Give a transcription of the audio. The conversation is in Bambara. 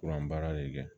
Kuran baara de kɛ